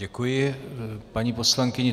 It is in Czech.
Děkuji paní poslankyni.